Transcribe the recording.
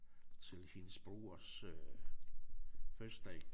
Til hendes brors øh fødselsdag